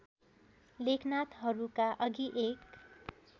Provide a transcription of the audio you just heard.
लेखनाथहरूका अघि एक